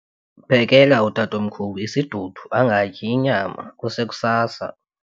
Phekela utatomkhulu isidudu angatyi inyama kusekusasa.